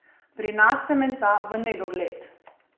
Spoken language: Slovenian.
Pri nas se menca v nedogled.